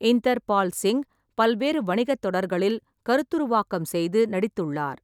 இந்தர்பால் சிங் பல்வேறு வணிகத் தொடர்களில் கருத்துருவாக்கம் செய்து நடித்துள்ளார்.